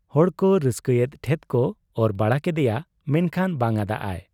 ᱦᱚᱲᱠᱚ ᱨᱟᱹᱥᱠᱟᱹᱭᱮᱫ ᱴᱷᱮᱫ ᱠᱚ ᱚᱨ ᱵᱟᱲᱟ ᱠᱮᱫᱮᱭᱟ ᱾ ᱢᱮᱱᱠᱷᱟᱱ ᱵᱟᱝᱟᱫ ᱟᱭ ᱾